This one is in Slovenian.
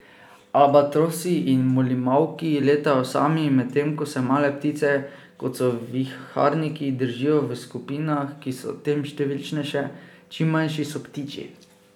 Albatrosi in molimauki letajo sami, medtem ko se male ptice, kot so viharniki, držijo v skupinah, ki so tem številčnejše, čim manjši so ptiči.